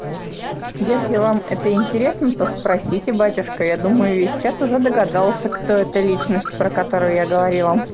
если вам это интересно то спросите батюшка я думаю весь чат уже догадался кто эта личность про которую я говорила